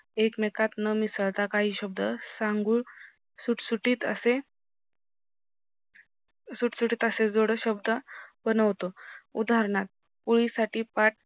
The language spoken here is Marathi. एकमेकात न मिसळता काही शब्द सांगून सुटसुटीत असे सुटसुटीत असे जोडशब्द बनवतो उदानहार्थ पोळी साथी पाट